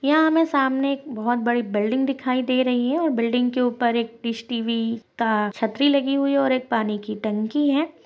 यहाँ हमे सामने हमे बहुत बड़ी बिल्डिंग दिखाई दे रही है और बिल्डिंग के ऊपर डिश टीवी का छत्री लगी हुई है और एक पानी की टंकी है।